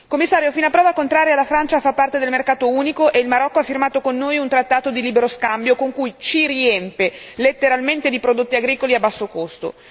Commissario, fino a prova contraria la Francia fa parte del mercato unico e il Marocco ha firmato con noi un trattato di libero scambio con cui ci riempie letteralmente di prodotti agricoli a basso costo.